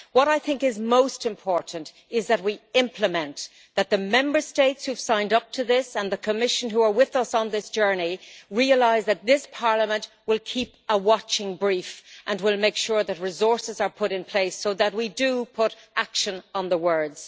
What I think is most important is that we implement, and that the Member States who have signed up to this, and the Commission who are with us on this journey, realise that this Parliament will keep a watching brief and will make sure that resources are put in place so that we do put action on the words.